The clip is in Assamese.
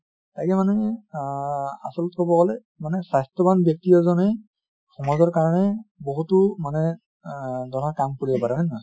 তাকে মানে আহ আচলতে কʼব গʼলে মানে স্বাস্থ্য়ৱান ব্য়ক্তি এজনে সমাজৰ কাৰণে বহুতো মানে আহ ধৰা কাম কৰিব পাৰে হয় নে নহয়?